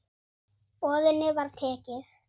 Boðinu var tekið.